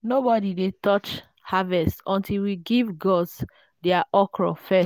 nobody dey touch harvest until we give gods their okro first.